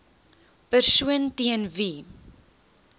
persoon teen wie